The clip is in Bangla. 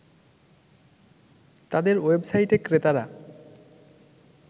তাদের ওয়েবসাইটে ক্রেতারা